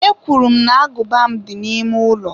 Ekwuru m na agụba m dị n'ime ụlọ.